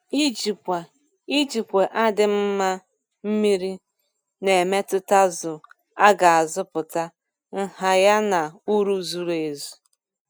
Ijikwa Ijikwa adịm mma mmiri na-emetụta zụ a ga-azụpụta, nha ya na uru zuru ezu.